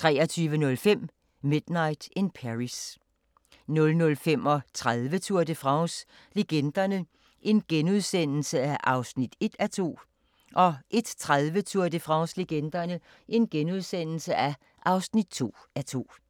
23:05: Midnight in Paris 00:35: Tour de France - legenderne (1:2)* 01:30: Tour de France - legenderne (2:2)*